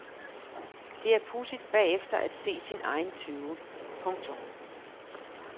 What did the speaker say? Det er pudsigt bagefter at se sin egen tøven. punktum